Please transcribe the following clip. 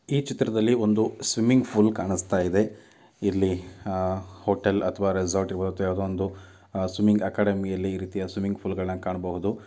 ಈ ಚಿತ್ರದಲ್ಲಿ ಒಂದು ಸ್ವಿಮ್ಮಿಂಗ್ ಪೂಲ್ ಕಾಣಿಸ್ತಾ ಇದೆ. ಇಲ್ಲಿ ಹಾಂ ಹೋಟೆಲ್ ಅಥವಾ ರೆಸಾರ್ಟಗೆ ಬರುತ್ತೆ ಯಾವುದೇ ಒಂದು ಸ್ವಿಮ್ಮಿಂಗ್ ಅಕಾಡೆಮಿಯಲ್ಲಿ ಈ ರೀತಿಯ ಸ್ವಿಮ್ಮಿಂಗ್ ಪೂಲಗಳನ್ನ ಕಾಣಬಹುದು .